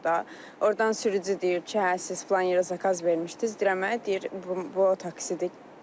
Ordan sürücü deyir ki, hə, siz filan yerə zakaz vermişdiniz, deyirəm hə, deyir bu otaksidir.